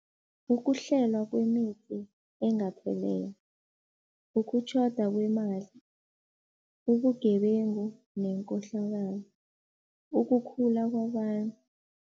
Ukuhlelwa kwemithi engathelelwa, ukutjhoda kwemali, ubugebengu nenkohlakalo, ukukhula kwabantu.